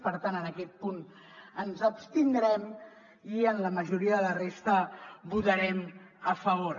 per tant en aquest punt ens abstindrem i en la majoria de la resta votarem a favor